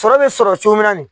Sɔrɔ bɛ sɔrɔ cogo min na